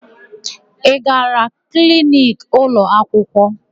Ị gara kliniki ụlọakwụkwọ?